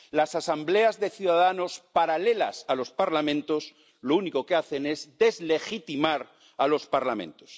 Las asambleas de ciudadanos paralelas a los parlamentos lo único que hacen es deslegitimar a los parlamentos.